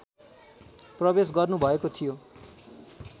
प्रवेश गर्नुभएको थियो